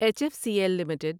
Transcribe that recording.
H F C L limited